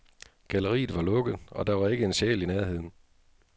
Galleriet var lukket, og der var ikke en sjæl i nærheden.